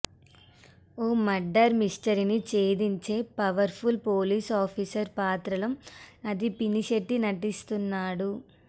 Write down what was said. ఓ murder మిస్టరీని ఛేదించే powerful police officer పాత్రలో ఆది పినిశెట్టి నటిస్తున్నాడు